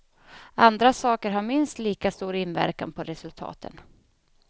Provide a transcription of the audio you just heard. Andra saker har minst lika stor inverkan på resultaten.